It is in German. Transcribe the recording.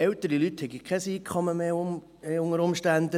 Ältere Leute hätten unter Umständen kein Einkommen mehr.